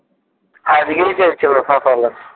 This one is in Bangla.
আজকেই চেয়েছিলো সকালে